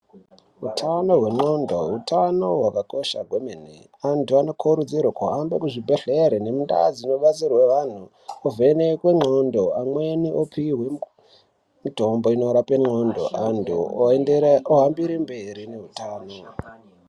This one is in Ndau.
Utano hwendxondo utano hwakakosha kwemene. Antu anokurudzirwa kuhamba kuzvibhendlere nemundau dzinobatsirwa antu uvhenekwe ngxondo. Amweni opihwa mitombo inorapa ndxondo antu ohambira mberi nehutano.